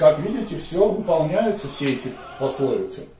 как видите все это выполняются все эти пословицы